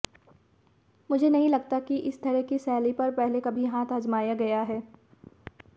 मुझे नहीं लगता कि इस तरह की शैली पर पहले कभी हाथ आजमाया गया है